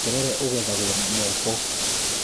Terere ũgethagwo na moko